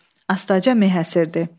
Astaca meh əsirdi.